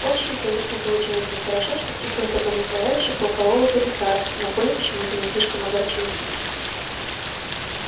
очень конечно получилось нехорошо что пришлось обмануть товарища полкового комиссара но коля почему то не слишком огорчился